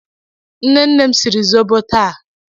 Nne nne m siri zobo taa.